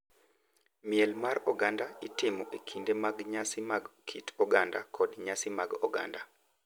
Miel mar oganda itimo e kinde mag nyasi mag kit oganda kod nyasi mag oganda,